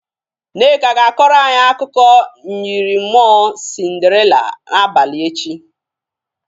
Nneka ga-akọrọ anyị akụkụ myịrị mmụọ Sinderila abalị echi.